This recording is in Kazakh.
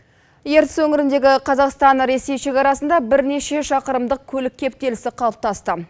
ертіс өңіріндегі қазақстан ресей шекарасында бірнеше шақырымдық көлік кептелісі қалыптасты